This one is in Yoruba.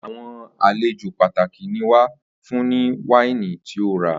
Àwo̩n àlejò pàtàkì ni wàá fún nĩ wáìnì tí o rà